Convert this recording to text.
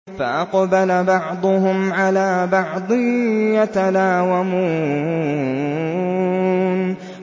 فَأَقْبَلَ بَعْضُهُمْ عَلَىٰ بَعْضٍ يَتَلَاوَمُونَ